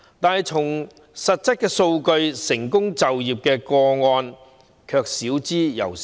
但看實質數據，成功就業個案少之又少。